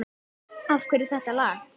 Af hverju þetta lag?